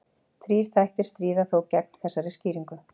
Þrír þættir stríða þó gegn þessari skýringu.